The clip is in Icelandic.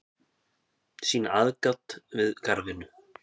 sýna aðgát við garðvinnu